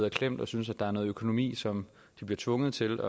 i klemme og synes at der er noget økonomi som de bliver tvunget til